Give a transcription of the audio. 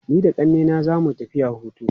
Ni da ƙannena za mu tafiya hutu.